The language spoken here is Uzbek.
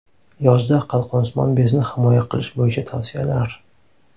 Yozda qalqonsimon bezni himoya qilish bo‘yicha tavsiyalar.